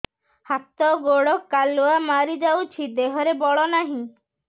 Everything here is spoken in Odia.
ହାତ ଗୋଡ଼ କାଲୁଆ ମାରି ଯାଉଛି ଦେହରେ ବଳ ନାହିଁ